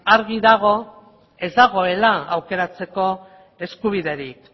argi dago ez dagoela aukeratzeko eskubiderik